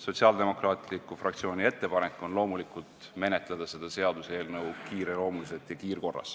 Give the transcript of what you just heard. Sotsiaaldemokraatliku Erakonna fraktsiooni ettepanek on loomulikult menetleda seda seaduseelnõu kiireloomuliselt ja kiirkorras.